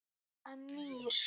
Hann nýr.